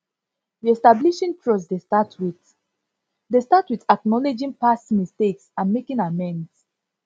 reestablishing trust dey start with dey start with acknowledging past mistakes and making amends